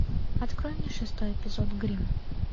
открой мне шестой эпизод гримм